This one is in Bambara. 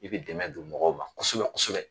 I bɛ dɛmɛ don mɔgɔw ma kosɛbɛ kosɛbɛ